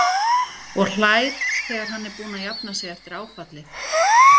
Og hlær þegar hann er búinn að jafna sig eftir áfallið.